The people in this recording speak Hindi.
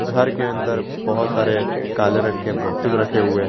घर के अंदर बहुत सारे काले रंग के बॉक्ससे रखे हुए हैं।